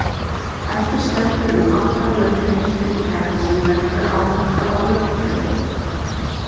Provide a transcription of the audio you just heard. Eftir stendur um aldarlöng heimspekihefð sem leggur áherslu á rökfræði.